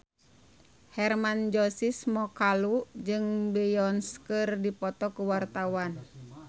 Hermann Josis Mokalu jeung Beyonce keur dipoto ku wartawan